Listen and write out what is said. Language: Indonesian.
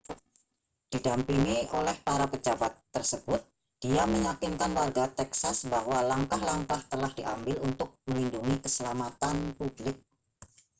didampingi oleh para pejabat tersebut dia meyakinkan warga texas bahwa langkah-langkah telah diambil untuk melindungi keselamatan publik